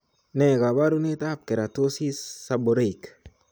Ne kaabarunetap Keratosis, seborrheic?